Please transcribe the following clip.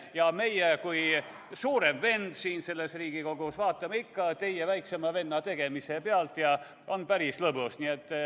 Ja meie kui suurem vend siin Riigikogus vaatame ikka teie, väiksema venna tegemisi pealt ja on päris lõbus.